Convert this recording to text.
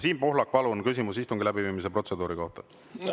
Siim Pohlak, palun küsimus istungi läbiviimise protseduuri kohta!